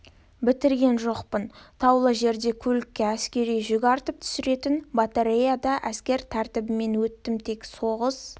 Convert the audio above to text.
бітірген жоқпын таулы жерде көлікке әскери жүк артып түсіретін батареяда әскер мектебінен өттім тек соғыс